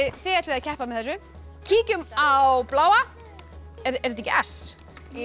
þið ætlið að keppa með þessu kíkjum á bláa er þetta ekki s jú